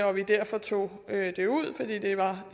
vi derfor tog det ud fordi det var